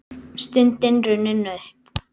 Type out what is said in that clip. Stundin runnin upp!